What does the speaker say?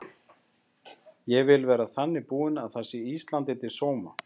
Ég vil vera þannig búin að það sé Íslandi til sóma.